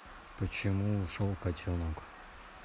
почему ушел котенок